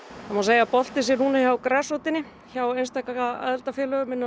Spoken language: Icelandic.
það má segja að boltinn sé núna hjá grasrótinni hjá einstaka aðildarfélögum innan